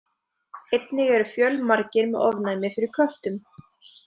Einnig eru fjölmargir með ofnæmi fyrir köttum.